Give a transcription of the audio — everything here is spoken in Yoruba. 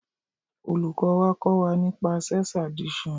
Olùkọ́ wa kọ́ wa nípa sex addiction